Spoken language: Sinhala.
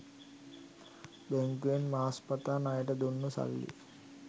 බැංකුවෙන් මාස් පතා ණයට දුන්නු සල්ලි